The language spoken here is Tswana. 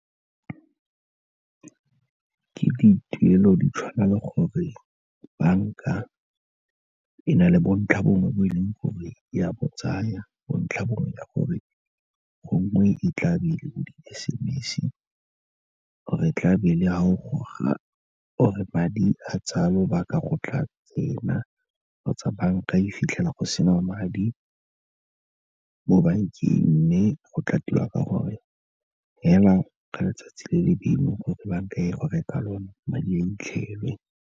Ke dituelo di tshwana le gore banka e na le bontlhabongwe bo e leng gore ya botsaya, bontlhabongwe gore gongwe e tla be e le bo di-S_M_S-e, or-e e tla be e le fa o goga or-e madi a tsaya lobaka go tla tsena, kgotsa banka e fitlhela go sena madi mo bankeng, mme go tla tiwa ka gore fela ka letsatsi le le bailweng gore banka e goge ka lona, madi a 'itlhelwe.